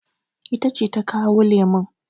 Ita ce ta kawo lemun.